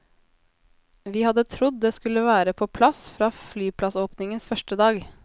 Vi hadde trodd det skulle være på plass fra flyplassåpningens første dag.